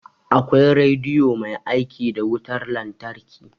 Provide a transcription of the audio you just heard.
Akwai rediyo mai aiki da wutar lantarki